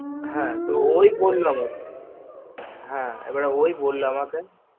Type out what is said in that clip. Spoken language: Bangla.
হা ওই বললো আমাকে হা এবার ওই বললো আমাকে